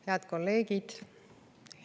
Head kolleegid!